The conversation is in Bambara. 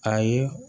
Ayi